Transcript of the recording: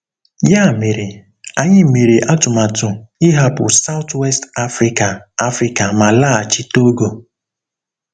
Ya mere, anyị mere atụmatụ ịhapụ South-West Africa Africa ma laghachi Togo.